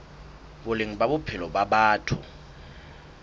boleng ba bophelo ba batho